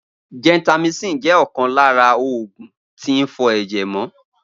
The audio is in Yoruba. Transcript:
Gentamicin jẹ́ ọ̀kan lára oògùn tín fọ ẹ̀jẹ̀ mọ